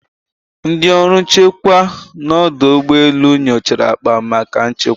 Ndị ọrụ nchekwa na odo ugbo elu nyochara akpa maka nchekwa.